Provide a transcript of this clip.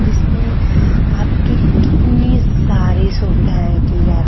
जिसमें आपकी कितनी सारी सुविधाएं की जा--